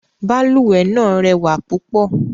Balùwẹ̀ náà rẹwà púpọ̀.